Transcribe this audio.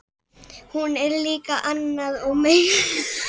Hún er líka annað og meira en nef og hlátur.